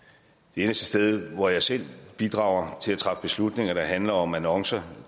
eneste sted hvor jeg selv bidrager til at træffe beslutninger der handler om annoncer